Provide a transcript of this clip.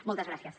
moltes gràcies